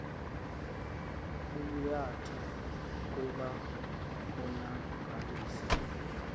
bubuyatha kuba konakalisa